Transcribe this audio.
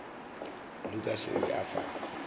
lukas o be a sa